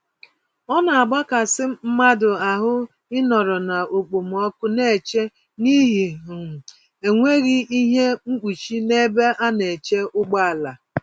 Ọnagbakasị mmadụ ahụ ịnọrọ na okpomọkụ n'eche n'ihi um enweghị ihe mkpuchi, n'ebe ana-eche ụgbọala